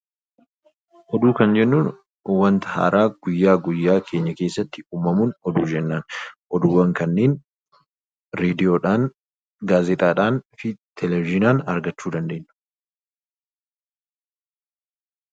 Oduu kan jennuun wanta haaraa guyyaa guyyaatti uumamuun oduu jennaan. Oduuwwan kanneen raadiyoodhaan, gaazexaadhaan akkasumas televezyiiniidhaan argachuu dandeenya